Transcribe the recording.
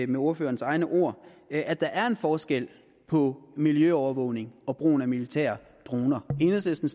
med ordførerens egne ord at der er en forskel på miljøovervågning og brugen af militære droner enhedslisten